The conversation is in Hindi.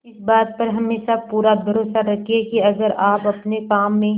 इस बात पर हमेशा पूरा भरोसा रखिये की अगर आप अपने काम में